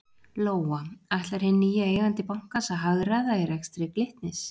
Lóa: Ætlar hinn nýi eigandi bankans að hagræða í rekstri Glitnis?